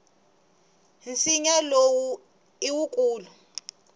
nsinya lowu i wukulu